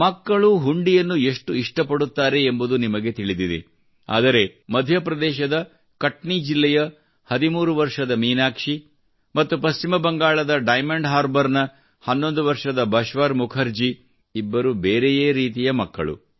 ಮಕ್ಕಳು ಹುಂಡಿಯನ್ನು ಎಷ್ಟು ಇಷ್ಟಪಡುತ್ತಾರೆ ಎಂಬುದು ನಿಮಗೆ ತಿಳಿದಿದೆ ಆದರೆ ಮಧ್ಯಪ್ರದೇಶದ ಕಟ್ನಿ ಜಿಲ್ಲೆಯ 13 ವರ್ಷದ ಮೀನಾಕ್ಷಿ ಮತ್ತು ಪಶ್ಚಿಮ ಬಂಗಾಳದ ಡೈಮಂಡ್ ಹಾರ್ಬರ್ನ 11 ವರ್ಷದ ಬಶ್ವರ್ ಮುಖರ್ಜಿ ಇಬ್ಬರು ಬೇರೆಯೇ ರೀತಿಯ ಮಕ್ಕಳು